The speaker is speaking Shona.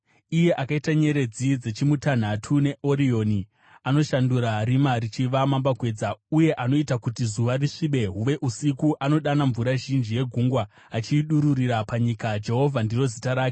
(Iye akaita nyeredzi dzeChimutanhatu neOrioni, anoshandura rima richiva mambakwedza, uye anoita kuti zuva risvibe huve usiku, anodana mvura zhinji yegungwa achiidururira panyika, Jehovha ndiro zita rake,